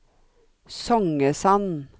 Songesand